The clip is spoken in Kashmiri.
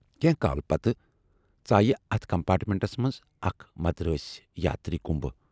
کینہہ کال پَتہٕ ژایہِ اتھ کمپارٹمینٹس منز اکھ مدرٲسۍ یاتری کُنبہٕ۔